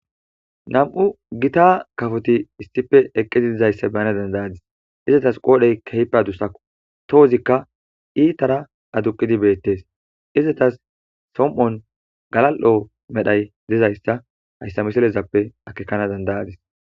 Na'mu gita kafoti issife eqqidi dizayssa beyana dandayadis izetas qoodhey keype adusao tohozikka iitara aduqidi beettees izatas som'on galal'o medhay dezayssa hayssa miselezappe akekana dandayadis